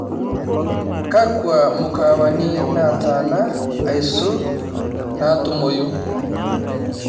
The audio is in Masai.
kakua mukaawani naataana aisul naatumoyu